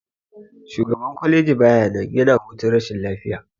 Shugaban kwaleji baya nan, yana hutun rashin lafiya.